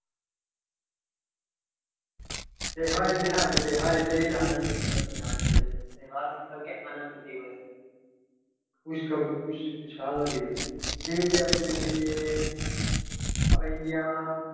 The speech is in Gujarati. આપણા ઈન્ડિયામાં તહેવાર એટલે આનંદનો દિવસ કહેવાય છે તહેવાર મતલબ કે આનંદ દિવસ ખુશ ખબર ખુશાલનો દિવસ